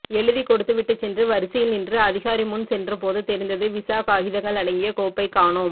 எழுதிக்கொடுத்துவிட்டுச் சென்று வரிசையில் நின்று அதிகாரிமுன் சென்றபோது தெரிந்தது விசா காகிதங்கள் அடங்கிய கோப்பை காணோம்